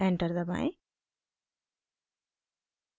enter दबाएं